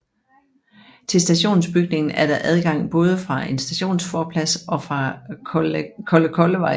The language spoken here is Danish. Til stationsbygningen er der adgang både fra en stationsforplads og fra Kollekollevej